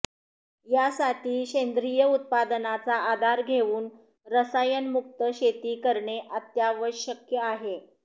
यासाठी सेंद्रीय उत्पादनाचा आधार घेवून रसायनमुक्त शेती करणे अत्यावश्यक आहे